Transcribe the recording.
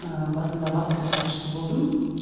ы басында баспасөз хатшысы болдым